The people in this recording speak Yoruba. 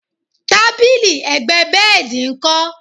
tábìlì ẹ̀gbẹ́ bẹ́ẹ̀dì nkọ?